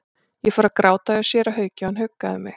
Ég fór að gráta hjá séra Hauki og hann huggaði mig.